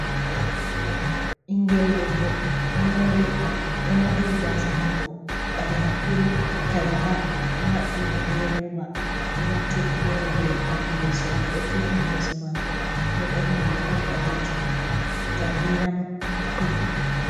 Ɓingel debbo do morli gasa mako ɓaleha kurum kalaba. Oɗo haɓɓi be roba, oɗo wartiri fere ɗi yeso, oɗo turni yeso mako, oɗo ɓorni riga ɓalejum, nda geram ɗuɗɗum.